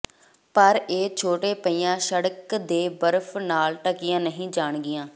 ਪਰ ਇਹ ਛੋਟੇ ਪਹੀਆਂ ਸੜਕ ਦੇ ਬਰਫ਼ ਨਾਲ ਢਕੀਆਂ ਨਹੀਂ ਜਾਣਗੀਆਂ